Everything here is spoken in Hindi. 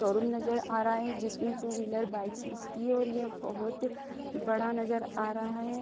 शोरूम नज़र आ रहा है जिसमें टू व्हीलर बाइक्स बिकती हैं और ये बहुत बड़ा नज़र आ रहा है।